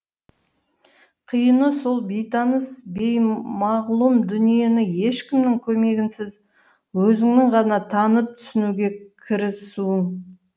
қиыны сол бейтаныс беймағлұм дүниені ешкімнің көмегінсіз өзіңнің ғана танып түсінуге кірісуің